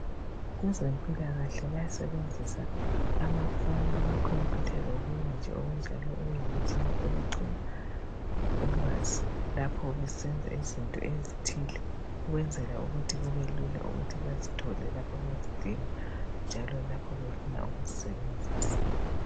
Kwezempilakahle bayasebenzisa amafoni, amacomputer lokunye nje okunjalo okuyimitshina kokugcina ulwazo lapho besenza izinto ezithile ukwenzela ukuthi kubelula bazithole lapho bezidinga njalo befuna ukuzisebenzisa.